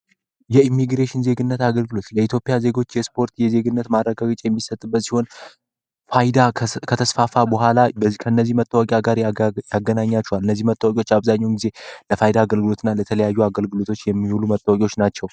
የኢሚግሬሽን ዜግነት አገልግሎት ለኢትዮጵያ ዜጎች የስፖርት የዜግነት ማረጋገጫ የሚሰጥበት ሲሆን ፋይዳ ከተስፋፋ በኋላ ከእነዚህ መታወቂያ ጋር ያገናኛቸዋል። እነዚህ መታወቂያዎች አብዛኛውን ጊዜ ለፋይዳ አገልግሎት እና ለተለያዩ አገልግሎቶች የሚውሉ መታወቂያዎች ናቸው።